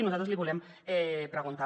i nosaltres l’hi volem preguntar